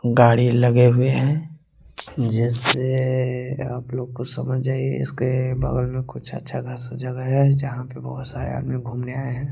गाड़ी लगे हुए हैं जैसे आप लोग को समझ जाइए इसके बगल में कुछ अच्छा खासा जगह है जहां पे बहोत सारे आदमी घूमने आए हैं।